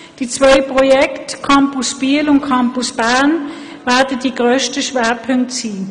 Die beiden Projekte Campus Biel und Campus Bern werden die grössten Schwerpunkte sein.